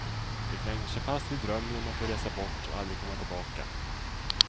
De klänger sig fast vid drömmen om att få resa bort och aldrig komma tillbaka.